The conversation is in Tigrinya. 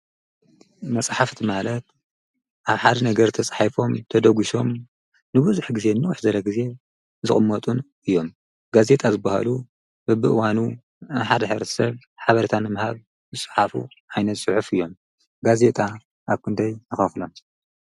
መፅሓፍቲ ማለት ኣብ ሓደ ነገር ተፃሒፎም ተደጊሶም ንንውሕ ዝበለ ግዜ ዝቅመጡ እዮም። ጋዜጣ ዝባህሉ በብእዋኑ ንሓደ ሕብረተሰብ ሓበሬታ ንምሃብ ዝፅሓፉ ዓይነት ፅሑፍ እዮም። ጋዜጣ ኣብ ክንደይ ንከፍሎም?